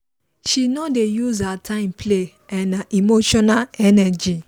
she no dey use her time play and her emotional energy